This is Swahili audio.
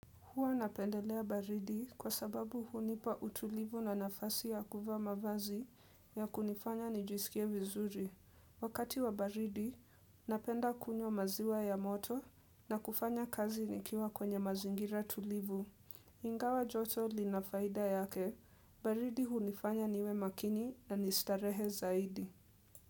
Huwa napendelea baridi kwa sababu hunipa utulivu na nafasi ya kuvaa mavazi ya kunifanya nijisikie vizuri. Wakati wa baridi, napenda kunywa maziwa ya moto na kufanya kazi nikiwa kwenye mazingira tulivu. Ingawa joto linafaida yake, baridi hunifanya niwe makini na ni starehe zaidi.